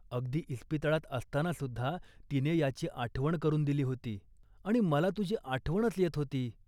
अगदी इस्पितळात असतानासुद्धा तिने याची आठवण करून दिली होती. आणि मला तुझी आठवणच येत होती